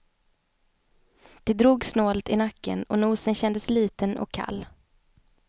Det drog snålt i nacken och nosen kändes liten och kall.